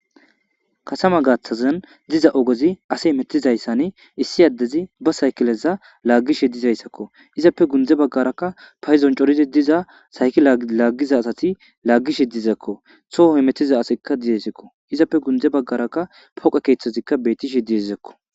katama gaththazan diza ogozi ase metizayssane issi addezi ba saykileza laaggishe dizayssakko izappe gundze baggarakka payizon corizi diza sayki laaggiza asati laaggishe dizakko soho mettiza asekka diyesekko izappe gunde baggarakka poqa keeththozikka betishe diezekko